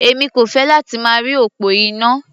Èmi kò fẹ́ láti máa rí òpó iná.